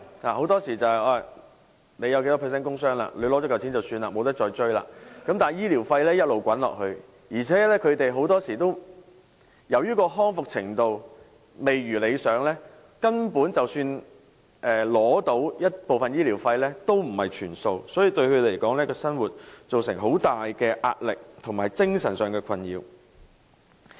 很多時候你有多少百分率的工傷，取得補償後便了事，無法再追，但醫療費用一直滾下去，而且他們很多時候由於康復程度未如理想，根本即使取得部分醫療費，亦不是全數，所以對他們來說，對生活造成巨大壓力，以及精神上的困擾。